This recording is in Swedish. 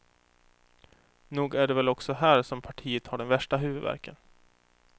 Nog är det väl också här som partiet har den värsta huvudvärken.